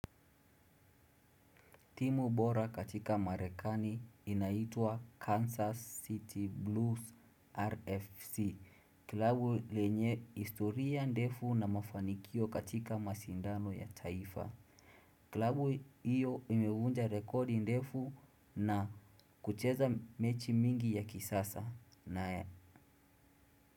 Timu bora katika marekani inaitwa Kansas City Blues RFC. Klabu lenye historia ndefu na mafanikio katika mashindano ya taifa kilabu iyo imevunja rekodi ndefu na kucheza mechi mingi ya kisasa nae.